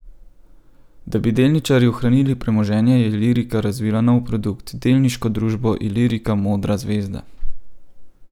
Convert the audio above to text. Da bi delničarji ohranili premoženje, je Ilirika razvila nov produkt, delniško družbo Ilirika Modra zvezda.